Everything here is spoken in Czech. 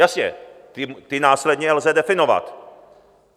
Jasně, ty následně lze definovat.